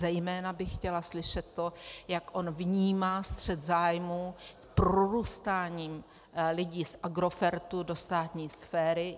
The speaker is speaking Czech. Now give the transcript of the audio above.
Zejména bych chtěla slyšet to, jak on vnímá střet zájmu prorůstáním lidí z Agrofertu do státní sféry.